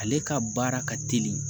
Ale ka baara ka teli